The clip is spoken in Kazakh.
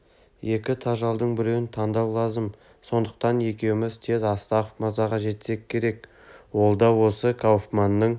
екі тажалдың біреуін таңдау лазым сондықтан екеуміз тез астахов мырзаға жетсек керек ол да осы кауфманның